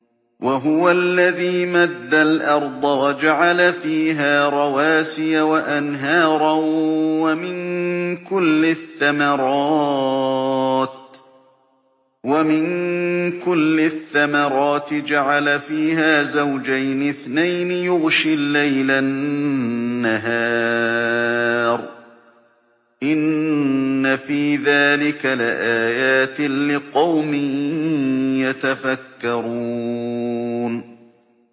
وَهُوَ الَّذِي مَدَّ الْأَرْضَ وَجَعَلَ فِيهَا رَوَاسِيَ وَأَنْهَارًا ۖ وَمِن كُلِّ الثَّمَرَاتِ جَعَلَ فِيهَا زَوْجَيْنِ اثْنَيْنِ ۖ يُغْشِي اللَّيْلَ النَّهَارَ ۚ إِنَّ فِي ذَٰلِكَ لَآيَاتٍ لِّقَوْمٍ يَتَفَكَّرُونَ